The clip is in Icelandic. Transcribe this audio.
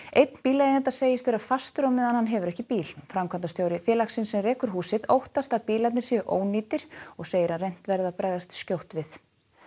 einn bíleigenda segist vera fastur á meðan hann hefur ekki bíl framkvæmdastjóri félagsins sem rekur húsið óttast að bílarnir séu ónýtir og segir að reynt verði að bregðast skjótt við